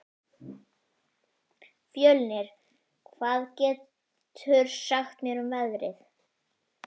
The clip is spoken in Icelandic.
Fjölnir, hvað geturðu sagt mér um veðrið?